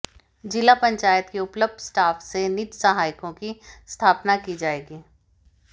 जिला पंचायत के उपलब्ध स्टाफ से निज सहायकों की स्थापना की जायेगी